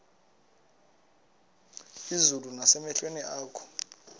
izulu nasemehlweni akho